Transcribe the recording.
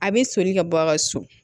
A bɛ soli ka bɔ a ka so